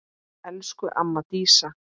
Elsku amma Dísa.